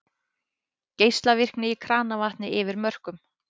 Geislavirkni í kranavatni yfir mörkum